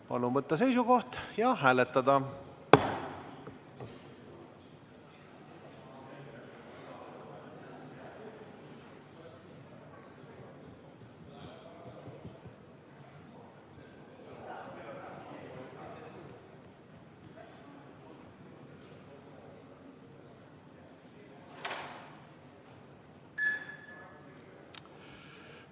Palun võtta seisukoht ja hääletada!